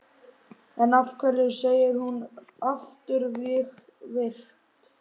En af hverju segir hún afturvirkt?